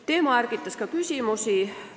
Teema ärgitas ka küsimusi.